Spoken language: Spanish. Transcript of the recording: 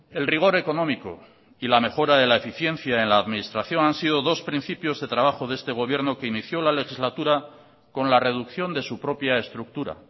el rigor económico y la mejora de la eficiencia en la administración han sido dos principios de trabajo de este gobierno que inició la legislatura con la reducción de su propia estructura